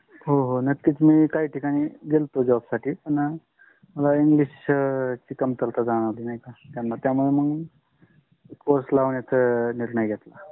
हो नक्किच. मी काही टिकनी गेला होता job सती पण मला त्याना english ची कमतरता जानवली त्यामुले मग course लावण्‍याचा निर्णय घेतला